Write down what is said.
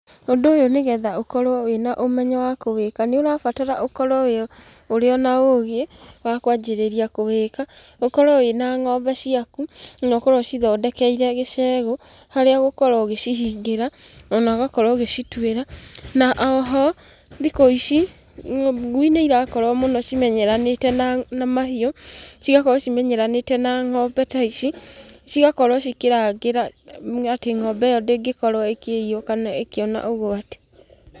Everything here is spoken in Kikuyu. Ũndũ ũyũ nĩgetha ũkorwo wĩna ũmenyo wa kũwĩka nĩ ũrabatara ũkorwo ũrĩ o na ũgĩ wa kwanjirĩria kũwĩka, ũkorwo wĩ na ng'ombe ciaku, na ũkorwo ũcithondekeire gĩcegũ harĩa ũgũkorwo ũgĩcihingĩra, ona ũgakorwo ũgĩcituĩra, na oho thikũ ici, ngui nĩirakorwo mũno cimenyeranĩte na mahiũ, cigakorwo cimenyeranĩte na ng'ombe ta ici, cigakorwo cikĩrangĩra atĩ ng'ombe ĩyo ndĩngĩkorwo ĩkĩiywo kana ĩkĩona ũgwati.